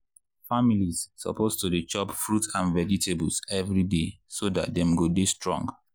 families suppose to dey chop fruit and vegetables every day so dat dem go dey strong.